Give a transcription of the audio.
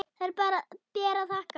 Þær ber að þakka.